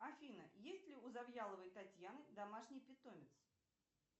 афина есть ли у завьяловой татьяны домашний питомец